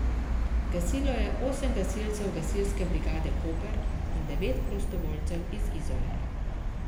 Gasilo je osem gasilcev gasilske brigade Koper in devet prostovoljcev iz Izole.